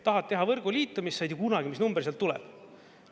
Tahad teha võrgu liitumist, sa ei tea kunagi, mis number sealt tuleb.